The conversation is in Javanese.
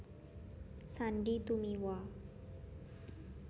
Sandy Tumiwa